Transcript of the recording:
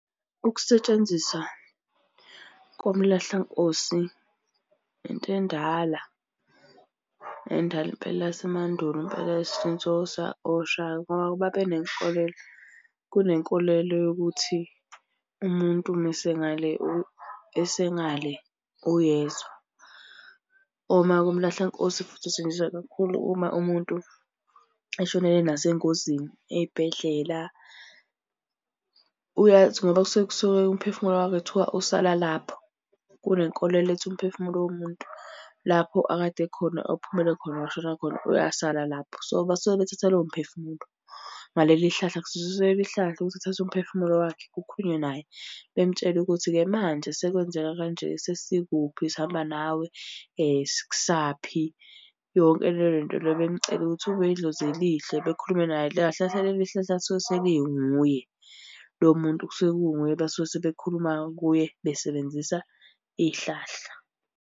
Ukusetshenziswa komlahlankosi into endala endala impela yasemandulo impela since oShaka ngoba babenenkolelo. Kunenkolelo yokuthi umuntu mese ngale esengale uyezwa. Uma-ke umlahlankosi futhi usetshenziswa kakhulu uma umuntu eshonele nasengozini, ey'bhedlela. Uyeke athi ngoba kusuke kusuke umphefumulo wakhe kuthiwa usala lapho. Kunenkolelo ethi umphefumulo womuntu lapho akade ekhona ophumele khona washona khona uyasala lapho. So, basuke bethatha lowo mphefumulo ngaleli hlahla, kusetshenziswa leli hlahla ukuthi kuthathwe umphefumulo wakhe kukhulunywe naye bemtshela ukuthi-ke manje sekwenzeka kanje, sesikuphi sihamba nawe sikusa kuphi, yonke le nto le. Bemucele ukuthi ube idlozi elihle bekhulume naye. Kahle kahle leli hlahla lisuke selinguye lowo muntu kusuke kunguye basuke sebekhuluma kuye besebenzisa ihlahla.